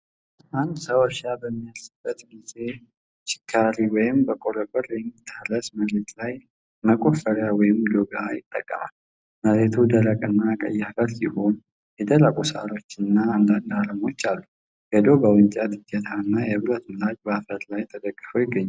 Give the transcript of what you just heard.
አንድ ሰው እርሻ በሚያረስበት ጊዜ ችካሪ ወይም በቆረቆር የሚታረስ መሬት ላይ መቆፈሪያ/ዶጋ ይጠቀማል። መሬቱ ደረቅና ቀይ አፈር ሲሆን፣ የደረቁ ሣሮችና አንዳንድ አረሞች አሉ። የዶጋው የእንጨት እጀታ እና የብረት ምላጭ በአፈር ላይ ተደግፈው ይገኛሉ።